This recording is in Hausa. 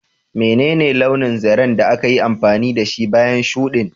Menene launin zaren da aka yi amfani da shi bayan shuɗin?